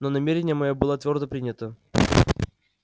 но намерение моё было твёрдо принято